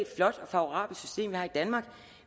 flot og favorabelt system vi har i danmark